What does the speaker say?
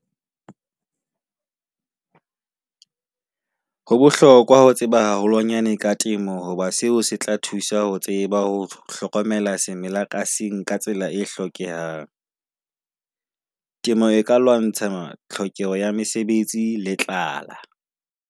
Ho bohlokwa ho tseba haholwanyane ka temo hoba seo se tla thusa ho tseba ho hlokomela semela ka seng ka tsela e hlokehang. Temo e ka lwantsha tlhokeho ya mesebetsi le tlala.